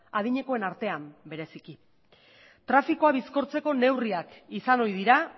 adinekoen artean bereziki trafikoa bizkortzeko neurriak izan ohi dira